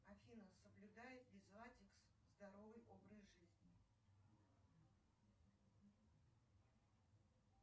афина соблюдает ли златикс здоровый образ жизни